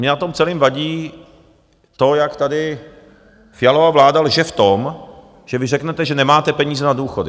Mně na tom celém vadí to, jak tady Fialova vláda lže v tom, že vy řeknete, že nemáte peníze na důchody.